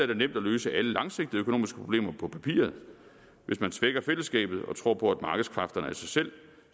det nemt at løse alle langsigtede økonomiske problemer på papiret hvis man svækker fællesskabet og tror på at markedskræfterne af sig selv